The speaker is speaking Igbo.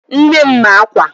Nne m ma-akwa